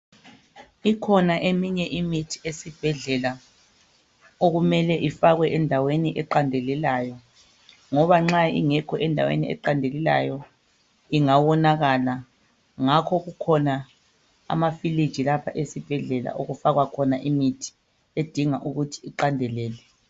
Ikhona eminye imithi esibhedlela okumele ifakwe endaweni eqandelelayo ngoba nxa ingekho endaweni eqandelelayo ingawonakala. Ngakho kukhona ama fridge lapha esibhedlela lapha okufakwa khona imithi edinga ukuthi iqandelele